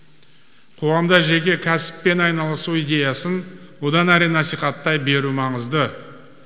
қоғамда жеке кәсіппен айналысу идеясын одан әрі насихаттай беру маңызды